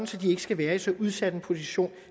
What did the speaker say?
så de ikke skal være i så udsat en position